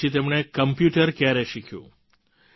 તો પછી તેમણે કોમ્પ્યુટર ક્યારે શિખ્યું